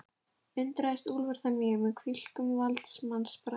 Undraðist Úlfar það mjög, með hvílíkum valdsmannsbrag